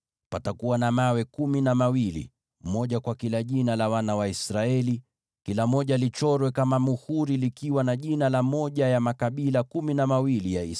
Patakuwa na vito kumi na viwili, kila kimoja kwa jina mojawapo la wana wa Israeli, kila kimoja kichorwe kama muhuri kikiwa na jina mojawapo la yale makabila kumi na mawili.